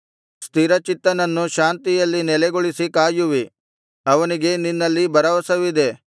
ಸ್ಥಿರಚಿತ್ತನನ್ನು ಶಾಂತಿಯಲ್ಲಿ ನೆಲೆಗೊಳಿಸಿ ಕಾಯುವಿ ಅವನಿಗೆ ನಿನ್ನಲ್ಲಿ ಭರವಸವಿದೆ